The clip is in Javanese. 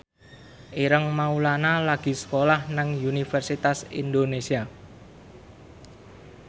Ireng Maulana lagi sekolah nang Universitas Indonesia